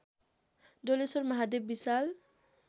Doleshwar Mahadev Vishal